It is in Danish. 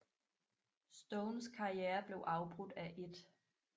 Stones karriere blev afbrudt af 1